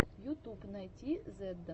ютуб найти зедда